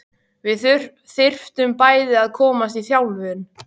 Við þyrftum bæði að komast í þjálfun.